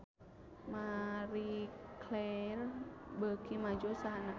Marie Claire beuki maju usahana